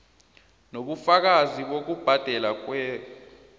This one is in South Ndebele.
nobufakazi bokubhadelwa kwer